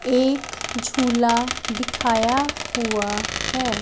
एक झूला दिखाया हुआ है।